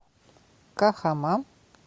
кахама